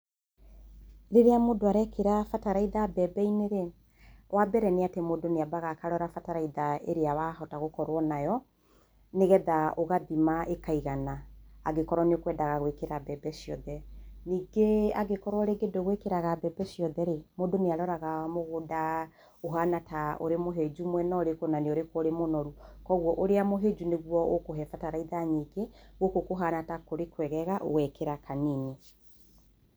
Rĩrĩa mũndũ arekĩra bataraitha mbembe-inĩ rĩ, wa mbere nĩ atĩ mũndũ nĩ ambaga akarora bataraitha ĩrĩa wahota gũkorwo nayo, nĩgetha ũgathima ĩkaigana, angĩkorwo nĩ ũkwendaga gwĩkĩra mbembe ciothe, ningĩ angĩkorwo ningĩ ndũgwĩkĩraga mbembe ciothe rĩ, mũndũ nĩ aroraga mũgũnda ũhana ta wĩ mũhĩnju mwena ũrĩkũ na nĩ ũrĩkũ mũnoru, koguo ũrĩa mũhĩnju nĩguo ũkũhe bataraitha nyingĩ gũkũ kũhana ta kũrĩ kwegega ũgekĩra kanini.